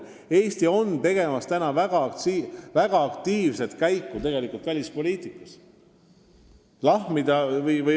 Eesti tegutseb välispoliitikas tegelikult väga aktiivselt.